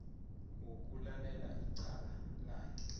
wokulalela icala lakhe